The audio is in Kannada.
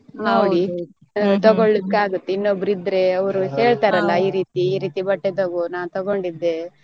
ತಗೋಳಿಕ್ಕೆ ಆಗುತ್ತೆ ಇನ್ನೊಬ್ರು ಇದ್ರೆ ಅವ್ರು ಹೇಳ್ತಾರಲ್ಲ ಈ ರೀತಿ ಈ ರೀತಿ ಬಟ್ಟೆ ತಗೋ ನಾನ್ ತಗೊಂಡ್ ಇದ್ದೆ.